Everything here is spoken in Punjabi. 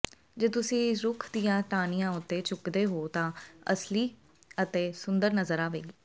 ਜੇ ਤੁਸੀਂ ਰੁੱਖ ਦੀਆਂ ਟਾਹਣੀਆਂ ਉੱਤੇ ਝੁਕਦੇ ਹੋ ਤਾਂ ਇਹ ਅਸਲੀ ਅਤੇ ਸੁੰਦਰ ਨਜ਼ਰ ਆਵੇਗੀ